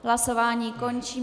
Hlasování končím.